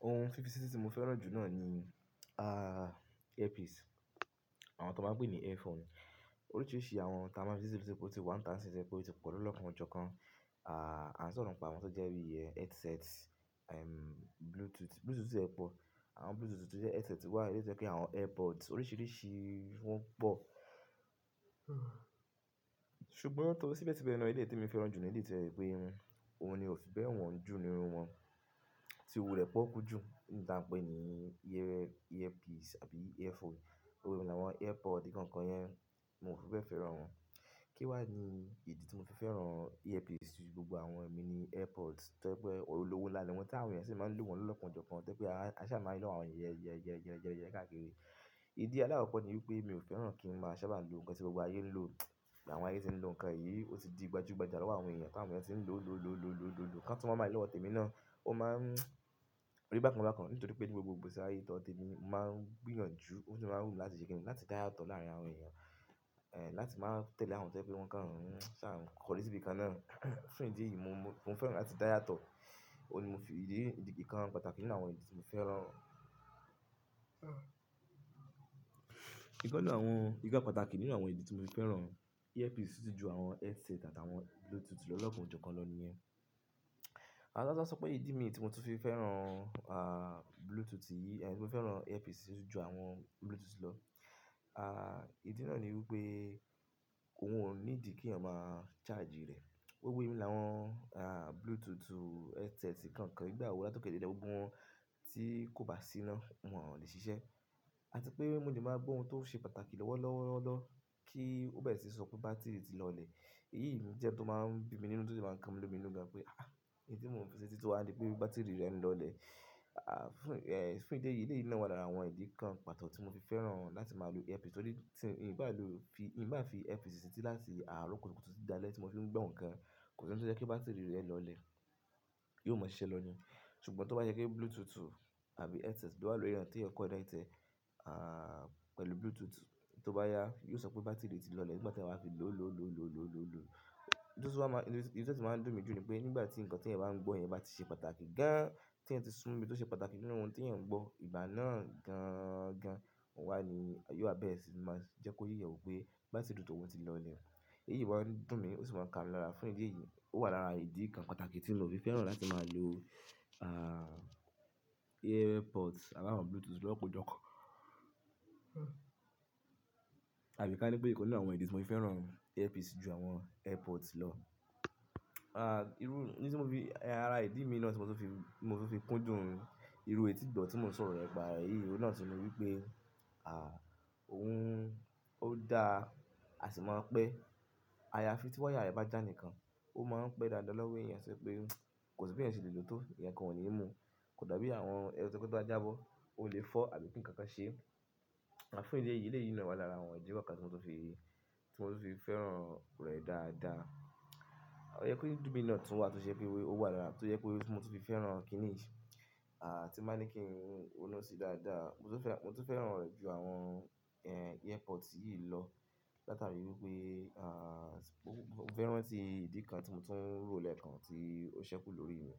Ohun fifi sítí tí mo fẹ́ràn jù náà ni, ah, earpiece. Àwọn tó máa gbé ní earphone. Oríṣiríṣi àwọn táán máa fi setí lò sí pọ̀ tí pọ̀ o tí pọ̀ lọ́lọ́kanọ́jọkan. Ah, àn soro nipa awon tó jẹ́ bíi ẹ headset, ehm, Bluetooth, Bluetooth tiẹ̀ pọ̀. Àwọn Bluetooth tó jẹ́ headset wá, eleyi tó jẹ́ bi àwọn airpods oríṣiríṣi wọ́n pọ̀. Ṣùgbọ́n lọ́wọ́, síbẹ̀síbẹ̀ ná èlèyi temi fẹ́ràn jù ní èlèyi tí ẹ pé, ohun ni o fi bẹ́ẹ̀ wọ́n jù ní irú wọn. Tí owó rẹ̀ pọ́okú jù, tán pẹ́ ní earpiece àbí earphone. Gbogbo emi làwọn airpod nìkan kan yẹn, mò fẹ́ fẹ́ràn wọn. Kí wá ni ìdí tí mo fi fẹ́ràn earpiece jú gbogbo àwọn ẹ̀mí ni airpods, to je pé olówó nla niwọn. Tí àwọn èèyàn ṣi máa ń lò wọ́n lọ́lọ́kanọ́jọkan, to je pé a ṣà máa ń ri lòwo àwọn èèyàn yẹ, yẹ, yẹ, yẹ, yẹ káàkiri. Ìdí àlàákokò ní wípé mi ò fẹ́ràn kí n máa ṣábà lò nǹkan tí gbogbo ayé ń lò. Àwọn ayé tí ń lo nǹkan yìí, ó ti di gbajúgbajà lọ́wọ́ àwọn èèyàn. Bí àwọn èèyàn tí ń lò, lò, lò, lò, lò, lò, lò, kán tun wa máa rii lòwọ́ tẹ́mi náà, ó máa ń rí bákan bákan. Nítorí pé ní gbogbo igbesi àyé tí ódo tẹ́mi, mo máa ń gbìyànjú, o de máa ń wumi láti ṣe kínni, láti dáyàtọ láàárín àwọn èèyàn. Eh, láti máa tẹ̀lé àwọn tó jẹ́ pé wọn kán Ṣà n kọ́ri síbi kan náà. Fún ìdí yìí, mo fẹ́ràn láti dáyà tọ. Òun ni mo fi, ìdí, ìdí, nǹkan pàtàkì nínú àwọn ìdí tí mo fẹ́ràn. Ìkan nínú àwọn, ìkan pàtàkì nínú àwọn ìdí tí mo fi fẹ́ràn earpiece jù àwọn headset àti àwọn Bluetooth lọ́lọ́kanọ́jọkan lọ nìyẹn. Àti láti sọ pé ìdí mi ní tí mo fi fẹ́ràn, ah, Bluetooth yìí, mo fẹ́ràn earpiece jù àwọn Bluetooth lọ. Ah, ìdí náà ni wí pé, òun ò niídí kí'yan máa charge rẹ̀. Gbogbo emi làwọn, ah, Bluetooth headset nkankan, ígbà awo lát'okẹ́ dẹ̀'lẹ̀ gbogbo wọn tí kò bá síná, wọn ò lè ṣiṣẹ́. Àti pé mo lè má gbọ́ ohun tó ń ṣe pàtàkì lọ́wọ́ lọ́wọ́ lọ́wọ́ lọ́, kí ó bẹ́ẹ̀ sí sọ pé bátírí tí lọlẹ̀. Eyì ni jẹ́ tó máa ń bí mi nínú tó máa ń kàn lómi lómi lọ́gá pé, ah, ìdí mo fi sítí tíwa ń dí pé bátírì rẹ̀ ń lọlẹ̀. Ah, fún, eh, fún ìdí yìí, ìdí yìí ni wà lára àwọn ìdí kan pàtọ̀ tí mo fi fẹ́ràn láti máa lo earpiece. Tó ní, tí, nígbà tí, in bà fi earpiece setí láti àárọ́ kútùkútù títi dáalẹ̀ tí mo fi ń gbọ́ nǹkan, kò sí ohun tó jẹ́ pé bátírì rẹ̀ lọlẹ̀. Yóò má ṣise lọ ni. Sùgbọ́n tó bá jẹ́ pé Bluetooth àbí headset, lo wà lòri ẹeyàn tí ẹyan connectiẹ̀, ah, pẹ̀lú Bluetooth, tó bá yá, yóò sọ pé bátírì rẹ̀ ti lọlẹ̀ nígbà tẹ́yan ba ti fi lò, lò, lò, lò, lò, lò, lò. Níbi tí ó máa ń dùn mí jù ni pé, nígbà tí nǹkan tí ẹ̀yan ń gbọ́ yẹn bá ti ṣe pàtàkì gan-an, tí ẹyan tí súnmobi tó ṣe pàtàkì nínú ohun tí ẹ̀yan ń gbọ́, ìgbà náà gan-an gan, wá ní, yóò á bẹ́ẹ̀ sì máa jẹ́ kóyẹ̀ ó pé bátírì tòun ti lọlẹ̀. Eyì wà dùn mí, ó sì máa ń kàmi lara. Fún ìdí yìí, ó wà lára ìdí kan pàtàkì tí mio fi fẹ́ràn láti máa lo, ah, airpods abáwọ̀n Bluetooth lọ́lọ́kanójọkan. Àbí ká ní pé ikan ninu àwọn ìdí tí mo fi fẹ́ràn earpiece jù àwọn airpods lọ. Ah, irú, ní tí mo fi, ara ìdí mi náà tí mo tó fi, mo tó fi kúndùn irú ètì igbọ̀ tí mo sọ̀rọ̀ rẹ̀ pa. Eyí oún náà tun ni wí pé, ah, òun ó dáa, a sì máa pẹ́. Ayafi tí wáyà rẹ bá jà nìkan, ó máa ń pẹ́ dáadáa lọ́wọ́ èèyàn to jẹ́ pé, kò sí b'eyan ṣe lè lò tó nkankan ò ni mú. Kò dàbí àwọn headset to jẹ pe tobá jábọ́, o lè fọ́ àbí kín nǹkankan ṣe. Àti fún ìdí yìí, eleyìí ní wà lára àwọn ìdí kookan tí mo tun fi, tí mo tun fi fẹ́ràn rẹ̀ dáadáa. Ó yẹ pé idi mí náà tún wà tó ṣe ẹ́ pé ó wà lára, tó jẹ pé mo tun fi fẹ́ràn kíníì, ah, tí máa ní kí n ó ronu sí dáadáa. Mo tun fẹ́, mo tun fẹ́ràn rẹ̀ jù àwọn, eh, airpods yìí lọ. Látàrí wí pé, ah, mó fẹ́ ràntí ìdí kan tí mo tún rò lẹ́ẹ́kan tí ó ṣẹ́kù lórí mi.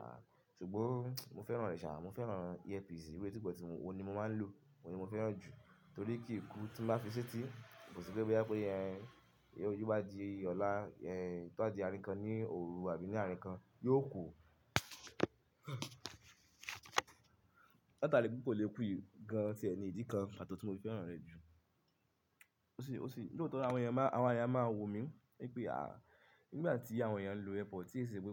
Ah, ṣùgbọ́n mo fẹ́ràn rẹ̀ ṣàá, mo fẹ́ràn earpiece irú èti ìgbọ̀ tí mo, òun ni mo máa ń lò, òun ni mo fẹ́ràn jù. Tórí kíìkú tí mo bá fi setí, kò sí pé boya bá pẹ́ yẹn, ó jó bádìí ọ̀la, yẹn tó bá di arínkan ní òru àbí ní arínkan, yóò kù. Látàrí pé kò lè kú yìí gan-an tí ni ìdí kan pàtọ̀ tí mo fi fẹ́ràn rẹ̀ jù. Ti e sepe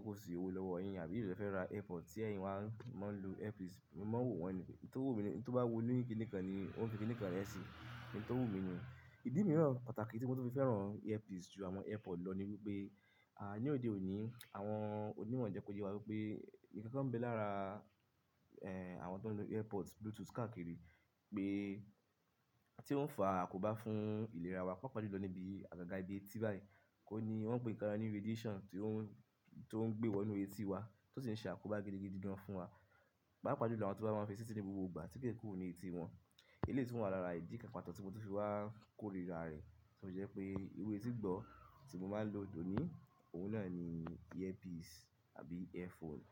kó sì owo lowo yin, abí eló le fe ra airpod ti èyin wá mo n lo airpiece emi maan wo wọn ni pe oun toba wu onikinnikan lo maan fi kinnikan re se, in to wu mi ni. Idi miiran pataki ti mo tun fi feran airpiece ju awon airpod lo ni omo lileèyàn máa Mímọ̀ jẹ kò yẹ wá wípé, ǹkan kan ń bẹ lára àwọn tó ń lò earpod, bluetooth káàkiri, pé tí o fà àkóbá fún ìlera wá, pàápà jùlọ níbi àgàgà íbi etí báyi, ohùn ni wọn ń pè nkan ni radiation ngbe wo inu eti wa, o sin se akoba gidigidi gan fun wa paapaa julo awon ti o ba maa n fi seti ni gbogbo igba ti kee kuro mi eti won eleyii tun wa lara idi kan pataki ti mo tun fi wa korira re to je pe iru eti igbo ti mo maa n lo doni oun naa ni ear piece tabi ear phone.